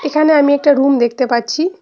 এখানে আমি একটা রুম দেখতে পাচ্ছি।